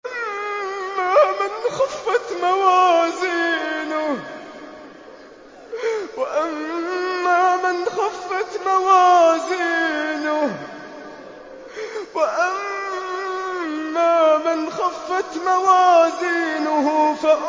وَأَمَّا مَنْ خَفَّتْ مَوَازِينُهُ